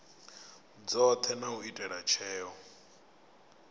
dzothe na u ita tsheo